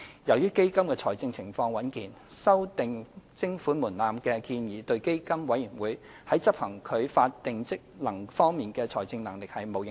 由於基金的財政狀況穩健，修訂徵款門檻的建議對基金委員會在執行其法定職能方面的財政能力並無影響。